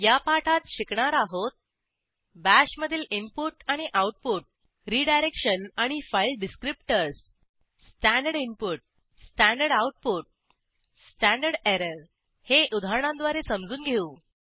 या पाठात शिकणार आहोत बाश मधील इनपुट आणि आऊटपुट रिडायरेक्शन आणि file descriptors standard input standard output standard error हे उदाहरणांद्वारे समजून घेऊ